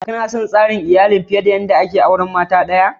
Kana son sarin iyallin da ake yin aure fiyar da mata daya?